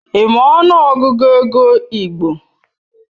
Ị ma ọnụ Ọgụgụ ego igbo?